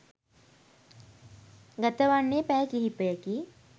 ගතවන්නේ පැය කිහිපයකි.